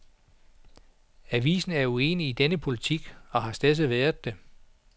Avisen er uenig i denne politik, og har stedse været det.